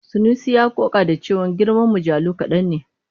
Sanusi ya ƙoƙa da cewa girman mujallu kaɗan ne.